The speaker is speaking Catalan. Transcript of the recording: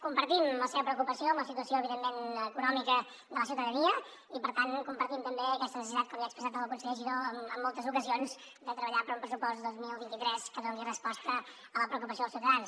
compartim la seva preocupació amb la situació evidentment econòmica de la ciutadania i per tant compartim també aquesta necessitat com ja ha expressat el conseller giró en moltes ocasions de treballar per un pressupost dos mil vint tres que doni resposta a la preocupació dels ciutadans